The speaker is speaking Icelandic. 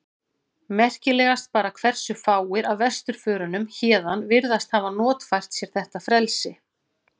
Merkilegast bara hversu fáir af vesturförunum héðan virðast hafa notfært sér þetta frelsi.